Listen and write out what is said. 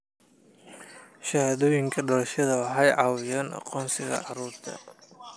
Shahaadooyinka dhalashada waxay caawiyaan aqoonsiga carruurta.